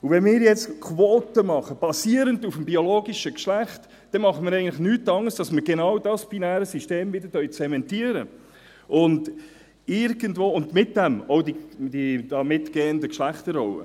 Wenn wir jetzt Quoten machen, basierend auf dem biologischen Geschlecht, dann tun wir eigentlich nichts anderes, als dass wir genau dieses binäre System wieder zementieren, auch die damit einhergehenden Geschlechterrollen.